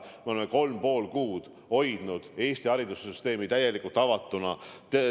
Me oleme 3,5 kuud hoidnud Eesti haridussüsteemi täielikult avatuna.